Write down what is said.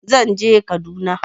Zan je Kaduna.